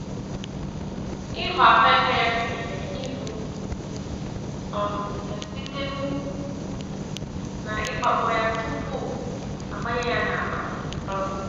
Ịghọ ahuekere gụnyere ivụ um ya site n'ukwu na igba kpọ ya tupu agbanye ya n'akpa. um